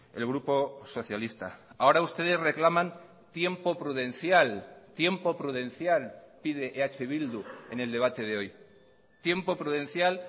el grupo socialista ahora ustedes reclaman tiempo prudencial tiempo prudencial pide eh bildu en el debate de hoy tiempo prudencial